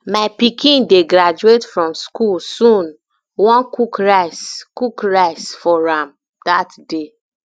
my pikin dey graduate from school sooni um wan cook rice cook rice for am um dat day